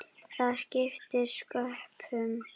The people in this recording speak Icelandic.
Það skiptir sköpum.